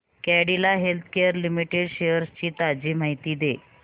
Cadila healthcare limited shares ची ताजी माहिती दे